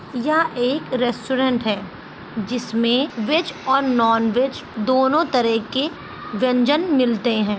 यह एक रेस्टोरेंट है जिसमें वेज और नॉनवेज दोनों तरह के व्यंजन मिलते है।